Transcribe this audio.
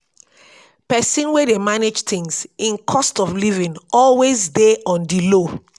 pesin wey dey manage things im cost of livin always dey on di low.